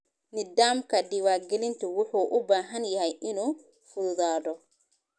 Nidaamka diiwaangelintu wuxuu u baahan yahay inuu fududaado.